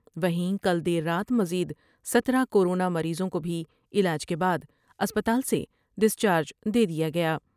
و ہیں کل دیر رات مزید سترہ کورونا مریضوں کو بھی علاج کے بعد اسپتال سے ڈسچارج دیدیا گیا۔